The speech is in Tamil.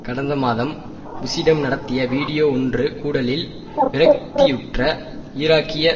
கடந்த மாதம் புஷ்ஷிடம் நடத்திய வீடியோ ஒன்றுகூடலில் விரக்தியுற்ற ஈராக்கிய